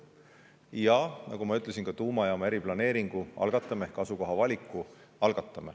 Ja nagu ma ütlesin, algatame ka tuumajaama eriplaneeringu ehk asukoha valiku.